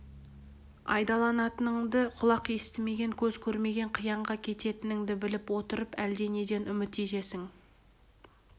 айдалатыныңды құлақ естімеген көз көрмеген қиянға кететініңді біліп отырып әлденеден үміт етесің